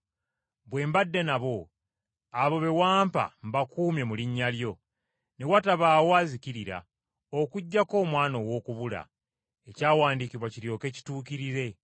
Bwe mbadde nabo, abo be wampa mbakuumye mu linnya lyo, ne watabaawo azikirira, okuggyako omwana ow’okubula, ekyawandiikibwa kiryoke kituukirire.”